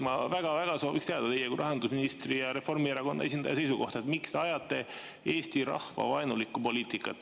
Ma väga soovin teada teie kui rahandusministri ja Reformierakonna esindaja seisukohta, miks te ajate eesti rahva vaenulikku poliitikat.